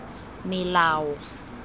melao